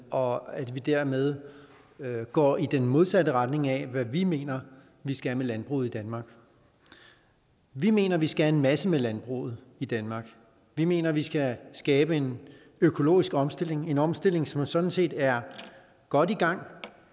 og at vi dermed går i den modsatte retning af hvad vi mener vi skal med landbruget i danmark vi mener at vi skal en masse med landbruget i danmark vi mener at vi skal skabe en økologisk omstilling en omstilling som sådan set er godt i gang